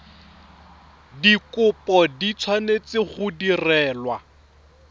dikopo di tshwanetse go direlwa